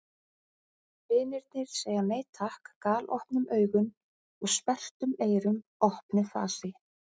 Vinirnir segja nei takk galopnum augun og sperrtum eyrum- opnu fasi.